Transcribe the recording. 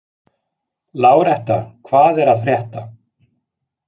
Láretta, hvað er að frétta?